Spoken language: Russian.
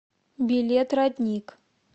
билет родник